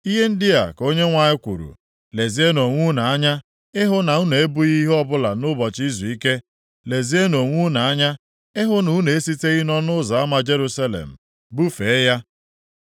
Ihe ndị a ka Onyenwe anyị kwuru, ‘Lezienụ onwe unu anya ịhụ na unu ebughị ibu ọbụla nʼụbọchị izuike; lezienụ onwe unu anya ịhụ na unu esiteghị nʼọnụ ụzọ ama Jerusalem bufee ya.